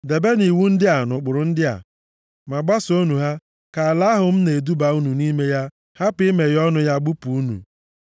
“ ‘Debenụ iwu ndị a na ụkpụrụ ndị a, ma gbasoonụ ha ka ala ahụ m na-eduba unu nʼime ya hapụ imeghe ọnụ ya gbụpụ unu.